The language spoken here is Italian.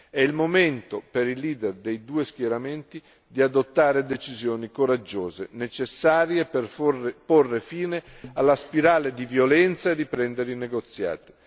È il momento per i leader dei due schieramenti di adottare decisioni coraggiose, necessarie per porre fine alla spirale di violenza e riprendere i negoziati.